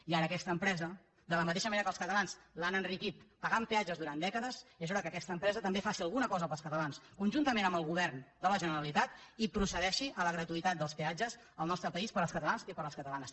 i ara aquesta empresa de la mateixa manera que els catalans l’han enriquit pagant peatges durant dècades és hora que també faci alguna cosa pels catalans conjuntament amb el govern de la generalitat i procedeixi a la gratuïtat dels peatges al nostre país per als catalans i per a les catalanes